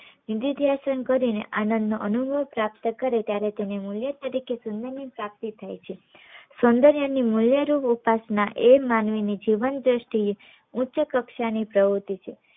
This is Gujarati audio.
કરી ને આનંદ નો અનુભવ પ્રાપ્ત કરે ત્યારે તેને મુલ્ય તરીકે પ્રાપ્તિ થાય છે સોંદર્ય ની મુલ્ય રૂપ ઉપાસના એ જ માનવી ની જીવન દ્રષ્ટિ એ ઉચ્ચ કક્ષા ની પ્રવૃત્તિ છે